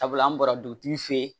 Sabula an bɔra dugutigi fɛ yen